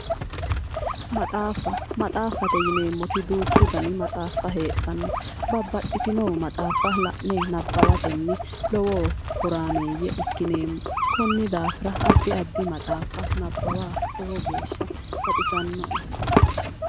Maxaaffate yinannitti duuchu dani maxaaffa heedhanno babbaxino dani maxaaffa la'ne nabbawatenni lowo horaameeyye ikkineemmo konni daafira addi addi maxaaffa nabbawa lowo geeshsha baxissannoe.